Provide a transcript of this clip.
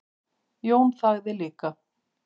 Jón þagði líka.